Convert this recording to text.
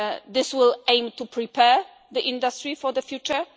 This will aim to prepare the industry for the future.